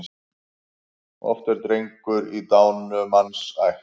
Oft er drengur í dánumanns ætt.